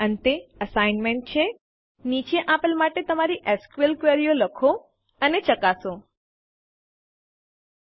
અંતે અસાઇનમેન્ટ છે નીચે આપેલ માટે તમારી એસક્યુએલ ક્વેરીઓ લખો અને ચકાસો ૧